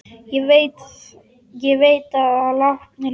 Ég veit að látnir lifa.